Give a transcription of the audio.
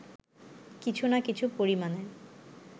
কিছু না কিছু পরিমাণে